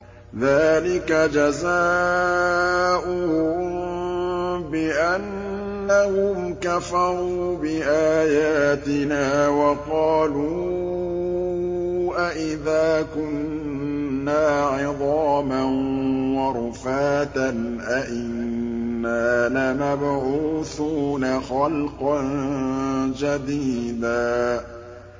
ذَٰلِكَ جَزَاؤُهُم بِأَنَّهُمْ كَفَرُوا بِآيَاتِنَا وَقَالُوا أَإِذَا كُنَّا عِظَامًا وَرُفَاتًا أَإِنَّا لَمَبْعُوثُونَ خَلْقًا جَدِيدًا